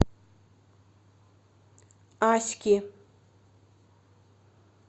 аськи